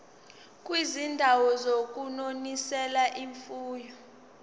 kwizindawo zokunonisela imfuyo